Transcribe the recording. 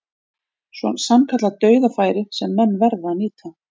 Sannkallað dauðafæri sem menn verða að nýta.